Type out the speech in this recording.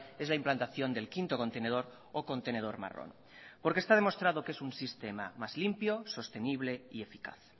es la implantación del quinto contenedor o contenedor marrón porque está demostrado que es un sistema más limpio sostenible y eficaz